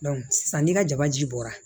sisan ni ka jaba ji bɔra